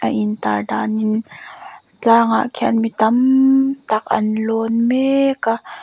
a in tar danin tlang ah khian mi tammm tak an lawn mekkkk a.